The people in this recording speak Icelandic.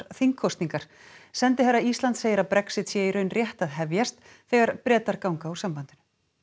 þingkosningar sendiherra Íslands segir að Brexit sé í raun rétt að hefjast þegar Bretar ganga úr sambandinu